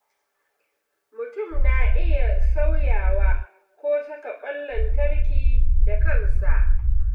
Mutum na iya sauyawa ko saka ƙwan lantarki da kansa.